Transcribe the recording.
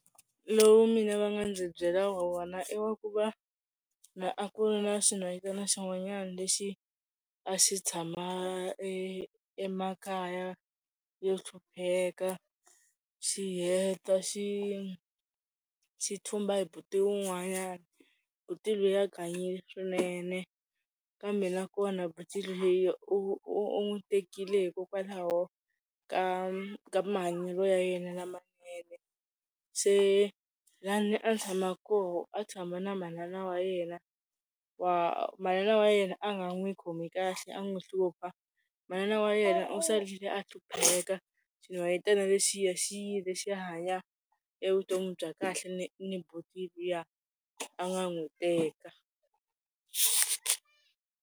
Lowu mina va nga ndzi byela wona i wa ku va na a ku na xin'hwanyatana xin'wanyana lexi a xi tshama e emakaya yo hlupheka xi heta xi xi thumba hi buti un'wanyana, buti lweyi a ganyile swinene kambe nakona buti lweyi u u u n'wi tekile hikokwalaho ka ka mahanyelo ya yena lamanene, se lani a tshama koho a tshama na manana wa yena wa manana wa yena a nga n'wi khomi kahle a n'wi hlupha, manana wa yena u salile a hlupheka, xin'hwanyatana lexiya xi yile xi ya hanya evutomi bya kahle ni ni buti luya a nga n'wi teka.